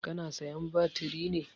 Ka na sayan batiri ne?